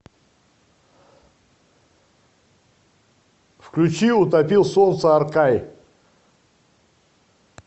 включи утопил солнце аркай